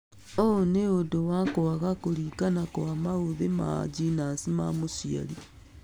ũ nĩ ũndũ wa kwaga kũringana kwa maũthĩ ma GNAS ma mũciari